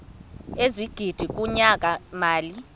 ezigidi kunyaka mali